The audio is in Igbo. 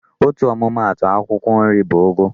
Otu ọmụma atụ akwụkwọ nri bụ ụgụ.